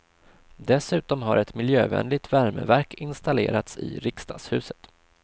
Dessutom har ett miljövänligt värmeverk installerats i riksdagshuset.